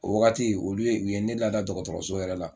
O wagati olu ye u ye ne lada dɔgɔtɔrɔso yɛrɛ la.